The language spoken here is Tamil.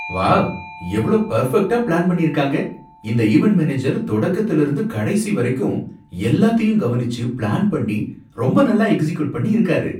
வாவ்! எவ்ளோ பர்ஃபெக்ட்டா பிளான் பண்ணி இருக்காங்க! இந்த ஈவென்ட் மேனேஜர் தொடக்கத்துல இருந்து கடைசி வரைக்கும் எல்லாத்தையும் கவனிச்சு பிளான் பண்ணி, ரொம்ப நல்லா எக்ஸிக்யூட் பண்ணி இருக்காரு.